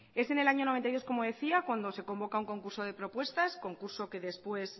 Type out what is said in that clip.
es en el años mil novecientos noventa y dos como decía cuando se convoca un concurso de propuestas concurso que después